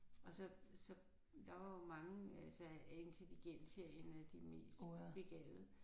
Og så så der var jo mange altså af intelligens her en af de mest begavede